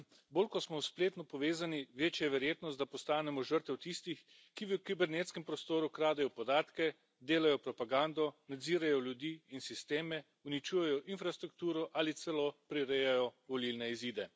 Bolj kot smo spletno povezani, večja je verjetnost, da postanemo žrtev tistih, ki v kibernetskem prostoru kradejo podatke, delajo propagando, nadzirajo ljudi in sisteme, uničujejo infrastrukturo ali celo prirejajo volilne izide.